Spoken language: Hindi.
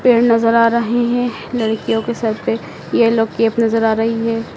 पेड़ नजर आ रहे हैं लड़कियों के सर पे येलो कैप नजर आ रही है।